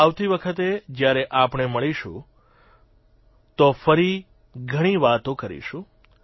આવતી વખતે જયારે આપણે મળીશું તો ફરી ઘણી વાતો કરીશું